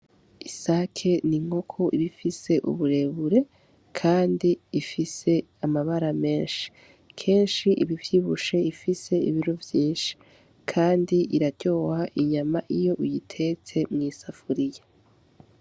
Isake ni nkoku ibifise uburebure, kandi ifise amabara menshi kenshi ibi vyibushe ifise ibiru vyinshi, kandi iraryoha inyama iyo uyitete mw'isafuriya.